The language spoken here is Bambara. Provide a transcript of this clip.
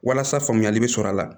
Walasa faamuyali bɛ sɔrɔ a la